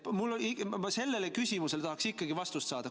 Ma sellele küsimusele tahaks ikkagi vastust saada.